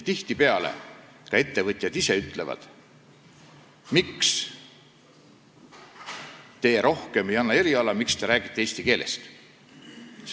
Tihtipeale ka ettevõtjad ise küsivad, miks ei anta rohkem erialatunde, miks räägitakse eesti keelest.